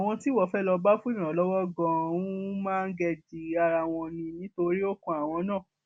àwọn tíwọ fẹẹ lóò bá fún ìrànlọwọ ganan ń máńgẹẹjì ara wọn ni nítorí ó kan àwọn náà